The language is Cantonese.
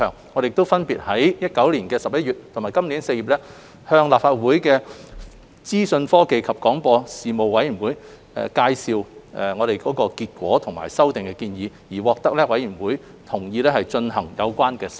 我們亦分別於2019年11月及今年4月向立法會資訊科技及廣播事務委員會介紹諮詢結果及修例建議，獲得委員會同意進行有關修訂。